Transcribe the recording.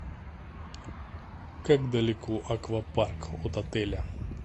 как далеко аквапарк от отеля